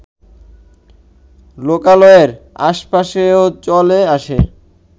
লোকালয়ের আশপাশেও চলে আসে